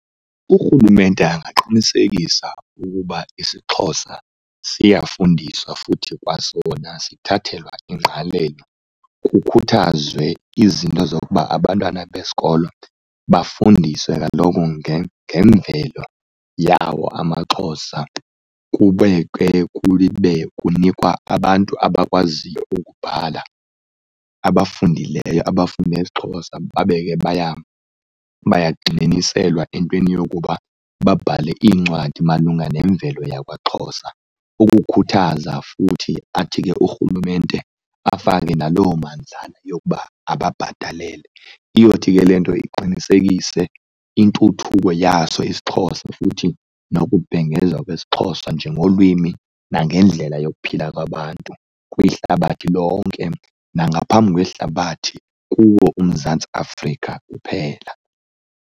Urhulumente angaqinisekisa ukuba isiXhosa siyafundiswa futhi kwasona sithathelwa ingqalel,o kukhuthazwe izinto zokuba abantwana besikolo bafundiswe kaloku ngemvelo yawo amaXhosa. Kube ke kube kunikwa abantu abakwaziyo ukubhala abafundileyo, abafunde isiXhosa, babe ke bayagxininiselwa entweni yokuba babhale iincwadi malunga lemvelo yakwaXhosa. Ukukhuthaza futhi athi ke urhulumente afake naloo mandlana yokuba ababhatale. Iyothi ke le nto iqinisekise intuthuko yaso isiXhosa futhi nokubhengezwa kwesiXhosa njengolwimi nangendlela yokuphila kwabantu kwihlabathi lonke nangaphambi kwehlabathi kuwo uMzantsi Afrika uphela.